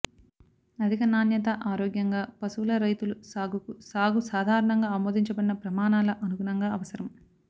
అధిక నాణ్యత ఆరోగ్యంగా పశువుల రైతులు సాగుకు సాగు సాధారణంగా ఆమోదించబడిన ప్రమాణాల అనుగుణంగా అవసరం